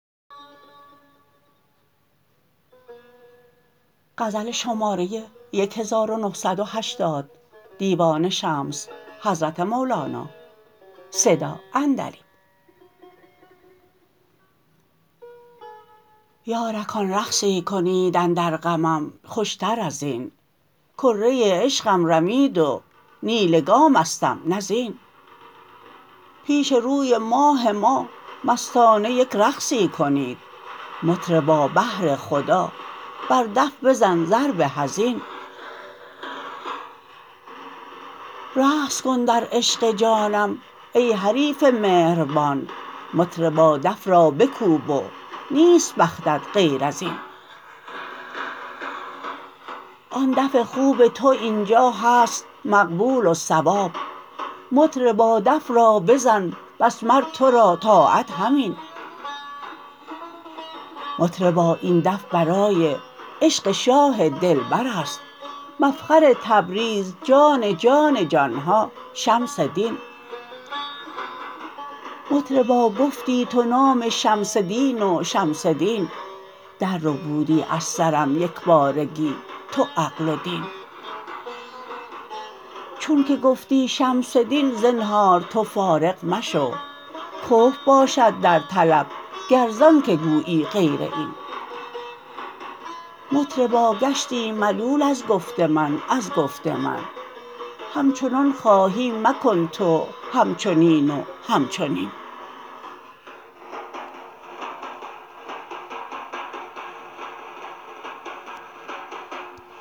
یارکان رقصی کنید اندر غمم خوشتر از این کره عشقم رمید و نی لگامستم نی زین پیش روی ماه ما مستانه یک رقصی کنید مطربا بهر خدا بر دف بزن ضرب حزین رقص کن در عشق جانم ای حریف مهربان مطربا دف را بکوب و نیست بختت غیر از این آن دف خوب تو این جا هست مقبول و صواب مطربا دف را بزن بس مر تو را طاعت همین مطربا این دف برای عشق شاه دلبر است مفخر تبریز جان جان جان ها شمس دین مطربا گفتی تو نام شمس دین و شمس دین درربودی از سرم یک بارگی تو عقل و دین چونک گفتی شمس دین زنهار تو فارغ مشو کفر باشد در طلب گر زانک گویی غیر این مطربا گشتی ملول از گفت من از گفت من همچنان خواهی مکن تو همچنین و همچنین